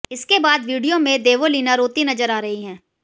इसके बाद वीडियो में देवोलीना रोती नज़र आ रही हैं